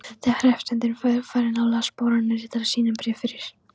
Þegar hreppsnefndin var farin las baróninn ritara sínum bréf fyrir.